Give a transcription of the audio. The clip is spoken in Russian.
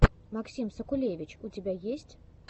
максим сакулевич у тебя есть